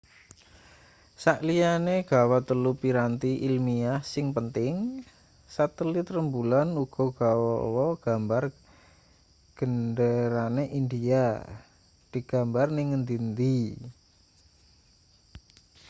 sakliyane gawa telu piranti ilmiah sing penting satelit rembulan uga gawa gambar genderane india digambar ning ngendi-endi